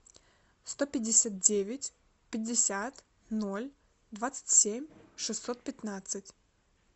сто пятьдесят девять пятьдесят ноль двадцать семь шестьсот пятнадцать